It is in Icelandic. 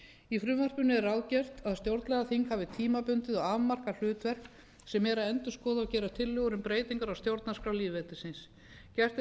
í frumvarpinu er ráðgert að stjórnlagaþing hafi tímabundið og afmarkað hlutverk sem er að endurskoða og gera tillögur um breytingar á stjórnarskrá lýðveldisins gert